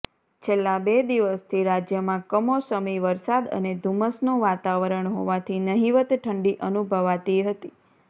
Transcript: છેલ્લા બે દિવસથી રાજ્યમાં કમોસમી વરસાદ અને ધૂમ્મસનું વાતાવરણ હોવાથી નહીંવત ઠંડી અનુભવાતી હતી